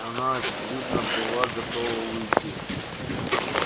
она очевидно была готова уйти